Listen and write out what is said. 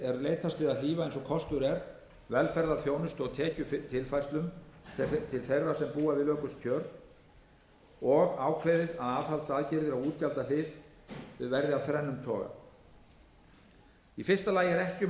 leitast við að hlífa eins og kostur er velferðarþjónustu og tekjutilfærslum til þeirra sem búa við lökust kjör og ákveðið að aðhaldsaðgerðir á útgjaldahlið væru af þrennum toga í fyrsta lagi er ekki um að